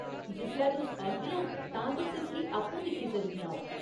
जिसलै तुस औगियां, तां तुस इसगी आपूं दिक्खी सकदियां ओ।